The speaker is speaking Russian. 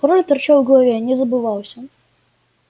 пароль торчал в голове не забывался